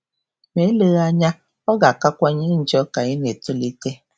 Ma eleghị anya, ọ um ga-akawanye njọ ka ị na-etolite.